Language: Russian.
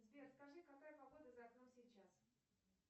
сбер скажи какая погода за окном сейчас